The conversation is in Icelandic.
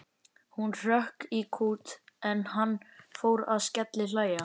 Hún hrökk í kút en hann fór að skellihlæja.